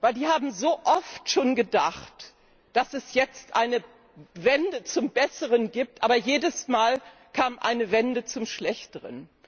Die haben so oft schon gedacht, dass es jetzt eine Wende zum Besseren gibt, aber jedes Mal kam eine Wende zum Schlechteren.